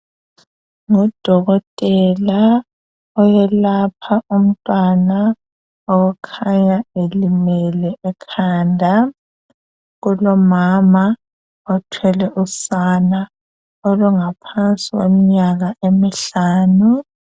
Ngudokotela oyelapha umntwana okhanya elimele ekhanda. Kulomama othwele usana olungaphansi kweminyaka emihlanu.